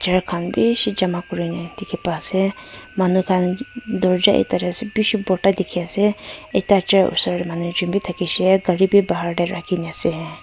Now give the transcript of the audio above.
chair khan bishi jama kurine dikhi paa ase manukhan dorja ekta te ase bishi borta dikhi ase ekta chari osor te manu ekjen bi thakishe gari bi bahar te rakhina ase.